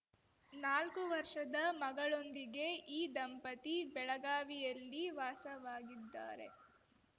ನಾಲ್ಕು ವರ್ಷದ ಮಗಳೊಂದಿಗೆ ಈ ದಂಪತಿ ಬೆಳಗಾವಿಯಲ್ಲಿ ವಾಸವಾಗಿದ್ದಾರೆ